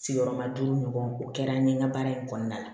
Sigiyɔrɔma duuru ɲɔgɔn o kɛra n ye n ka baara in kɔnɔna la